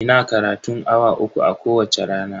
Ina karatun awa uku a kowacce rana.